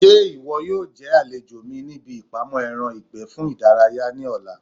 Ṣé ìwọ yóò jẹ́ àlejò mi ní ibi ìpamọ́ ẹran ìgbẹ́ fún ìdárayá ní ọ̀la?